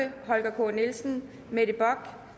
holger k nielsen mette bock